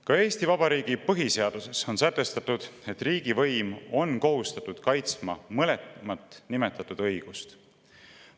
Ka Eesti Vabariigi põhiseaduses on sätestatud, et riigivõim on kohustatud kaitsma mõlemat nimetatud õigust.